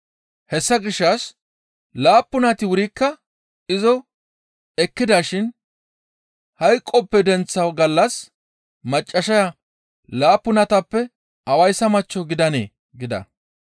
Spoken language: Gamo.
Hessa gishshas laappunati wurikka izo ekkidashin hayqoppe denththa gallas maccassaya laappunatappe awayssa machcho gidanee?» gida.